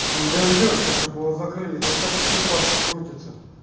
не дождёшься чтобы его закрыли там такие бабки крутятся